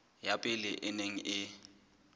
ya pele e neng e